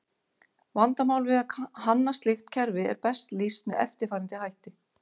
Vandamál við að hanna slíkt kerfi er best lýst með eftirfarandi hætti.